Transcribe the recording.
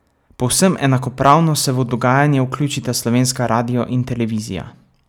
Povsem enakopravno se v dogajanje vključita slovenska radio in televizija.